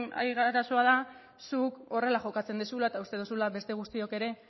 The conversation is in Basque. arazoa da zuk horrela jokatzen duzula eta uste duzula beste guztiok ere